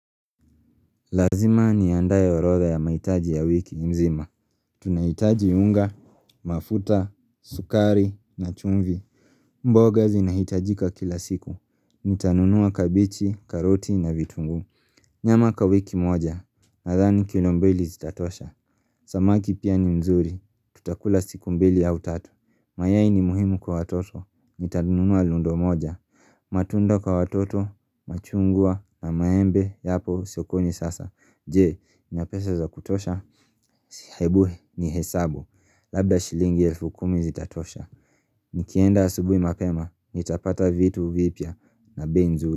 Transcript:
Lazima niaandae orodha ya mahitaji ya wiki mzima. Tunahitaji unga, mafuta, sukari, na chumvi. Mboga zinahitajika kila siku. Nitanunua kabichi, karoti, na vitunguu. Nyama kawiki moja. Nadhani kilo mbili zitatosha. Samaki pia ni mzuri. Tutakula siku mbili au tatu. Mayai ni muhimu kwa watoto. Nitanunua lundo moja. Matunda kwa watoto. Machungwa na maembe yapo sokoni sasa. Je, nina pesa za kutosha? Hebu nihesabu, labda shilingi elfu kumi zitatosha Nikienda asubuhi mapema, nitapata vitu vipya na bei nzuri.